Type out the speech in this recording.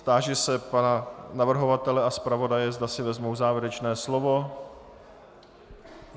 Táži se pana navrhovatele a zpravodaje, zda si vezmou závěrečné slovo.